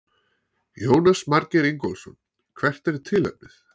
Jónas Margeir Ingólfsson: Hvert er tilefnið?